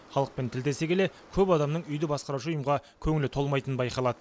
халықпен тілдесе келе көп адамның үйді басқарушы ұйымға көңілі толмайтынын байқалады